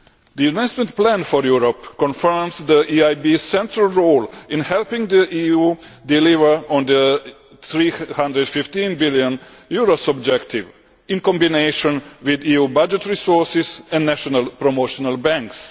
The Investment Plan for Europe confirms the EIB's central role in helping the EU deliver on the EUR 315 billion objective, in combination with EU budget resources and national promotional banks.